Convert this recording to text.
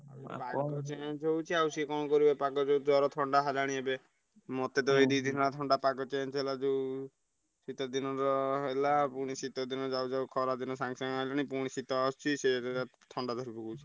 ପାଗ change ହଉଛି ଆଉ ସେ କଣ କରିବେ ପାଗ ଯୋଉ ଜ୍ବର, ଥଣ୍ଡା ହେଲାଣି ଏବେ ମତେ ତ ଏଇ ଦି ଦିନି ହେଲା ଥଣ୍ଡା ପାଗ change ହେଲା ଯୋଉ ଶୀତ ଦିନ ତ ହେଲା ପୁଣି ଶୀତ ଦିନ ଯାଉ ଯାଉ ଖରା ଦିନ ସାଙ୍ଗେସାଙ୍ଗେ ଆଇଲାଣି ପୁଣି ଶୀତ ଆସୁଛି ସେ ଥଣ୍ଡା ଧରି ପକଉଛି।